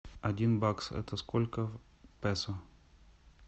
один бакс это сколько песо